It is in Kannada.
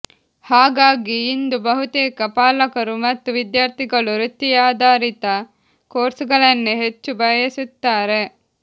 ಹಾಗಾಗಿ ಇಂದು ಬಹುತೇಕ ಪಾಲಕರು ಮತ್ತು ವಿದ್ಯಾರ್ಥಿಗಳು ವೃತ್ತಿಯಾಧರಿತ ಕೋರ್ಸುಗಳನ್ನೇ ಹೆಚ್ಚು ಬಯಸುತ್ತಾರೆ